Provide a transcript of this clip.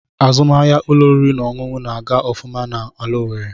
Azụmahịa ụlọ oriri na ọṅụṅụ na-aga ofuma n'ala Owerre.